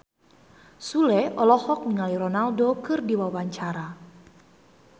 Sule olohok ningali Ronaldo keur diwawancara